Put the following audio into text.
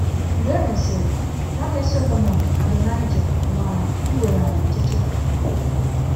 Mgbe e mesịrị, nwanne Sọlọmọn Adonaịja nwara iweghara ọchịchị.